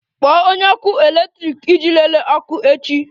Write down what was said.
Kpọọ onye ọkụ eletrik iji lelee ọkụ echi!